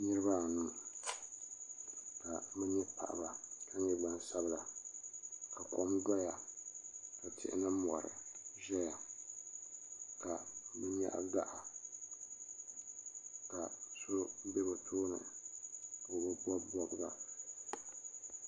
Niriba anu ka bɛ nyɛ paɣaba ka nyɛ gbansabila ka kom doya ni tihi ni mori ʒɛya ka bɛ nyaɣi gaɣa ka so be bɛ tooni.